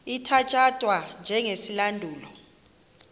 ithatya thwa njengesilandulo